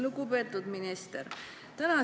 Lugupeetud minister!